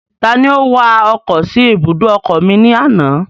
Ta ni ó wa ọkọ̀ sí ibùdó ọkọ̀ mi ní àná?